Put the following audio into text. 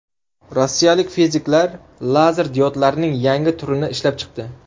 Rossiyalik fiziklar lazer diodlarning yangi turini ishlab chiqdi.